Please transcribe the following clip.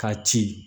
K'a ci